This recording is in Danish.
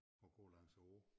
Og gå lang æ å